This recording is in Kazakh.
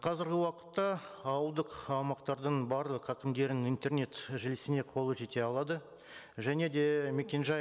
қазіргі уақытта ауылдық аумақтардың барлық әкімдерінің интернет желісіне қолы жете алады және де мекен жай